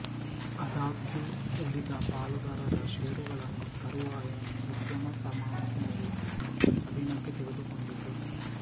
ಆದಾಗ್ಯೂ ಉಳಿದ ಪಾಲುದಾರರ ಷೇರುಗಳನ್ನು ತರುವಾಯ ಉದ್ಯಮಸಮೂಹವು ಸ್ವಾಧೀನಕ್ಕೆ ತೆಗೆದುಕೊಂಡಿತು